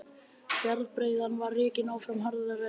Fjárbreiðan var rekin áfram harðri hendi.